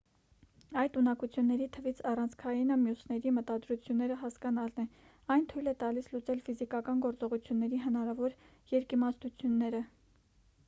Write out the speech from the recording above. այդ ունակությունների թվից առանցքայինը մյուսների մտադրությունները հասկանալն է այն թույլ է տալիս լուծել ֆիզիկական գործողությունների հնարավոր երկիմաստությունները